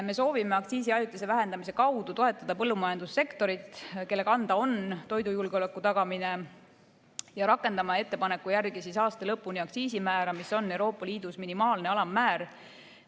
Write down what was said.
Me soovime aktsiisi ajutise vähendamise kaudu toetada põllumajandussektorit, kelle kanda on toidujulgeoleku tagamine, ja rakendada ettepaneku järgi aasta lõpuni aktsiisimäära, mis on Euroopa Liidus minimaalne alammäär.